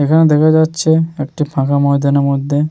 এখানে দেখা যাচ্ছে একটি ফাঁকা ময়দানের মধ্যে --